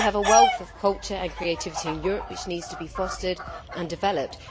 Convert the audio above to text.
We have a wealth of culture and creativity in Europe which needs to be fostered and developed.